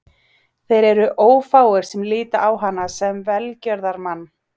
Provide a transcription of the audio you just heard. Þeir eru ófáir sem líta á hana sem velgjörðarmann.